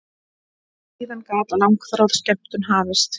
Síðan gat langþráð skemmtun hafist.